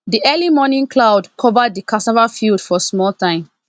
the early morning cloud cover the cassava field for small time